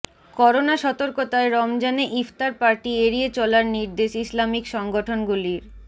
corona সতর্কতায় রমজানে ইফতার পার্টি এড়িয়ে চলার নির্দেশ ইসলামিক সংগঠন গুলির